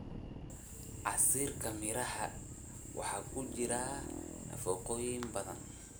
Casiirka miraha waxaa ku jira nafaqooyin badan.